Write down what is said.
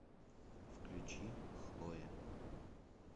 включи хлоя